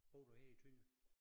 Bor du her i Tønder?